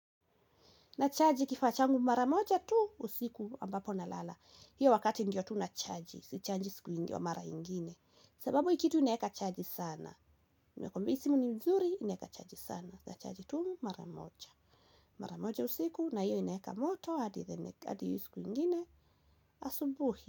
Nachaji kifaa changu mara moja tu usiku ambapo nalala. Hiyo wakati ndiyo tu nachaji. Sichaji siku ingi mara ingine. Sababu hii kitu inaweka chaji sana. Nakuambia hii simu ni nzuri inaweka chaji sana. Nachaji tu mara moja. Mara moja usiku na hiyo inaweka moto hadi hadi hiyo siku ingine asubuhi.